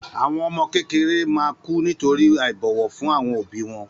Àwọn ọmọ kékeré ma kù nítorí àìbọ̀wọ̀ fún àwọn òbí wọn